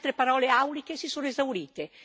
Le altre parole auliche si sono esaurite.